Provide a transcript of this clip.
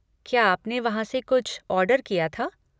क्या आपने वहाँ से कुछ ऑर्डर किया था?